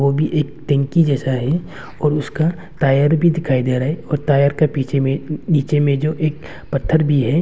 भी एक टैंकी जैसा है और उसका टायर भी दिखाई दे रहा है और टायर का पीछे में नीचे में जो एक पत्थर भी है।